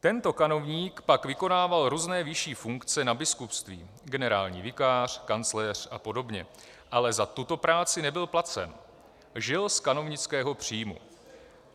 Tento kanovník pak vykonával různé vyšší funkce na biskupství - generální vikář, kancléř a podobně -, ale za tuto práci nebyl placen, žil z kanovnického příjmu.